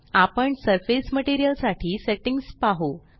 आपण surface material साठी settings पाहु